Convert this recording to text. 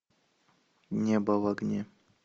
небо в огне